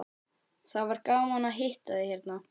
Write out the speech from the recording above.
Það var gaman að hitta þig hérna.